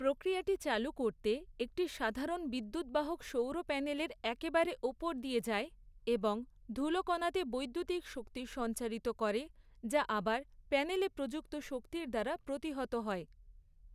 প্রক্রিয়াটি চালু করতে একটি সাধারণ বিদ্যুদ্বাহক সৌর প্যানেলের একেবারে ওপর দিয়ে যায় এবং ধুলোকণাতে বৈদ্যুতিক শক্তি সঞ্চারিত করে যা আবার প্যানেলে প্রযুক্ত শক্তির দ্বারা প্রতিহত হয়।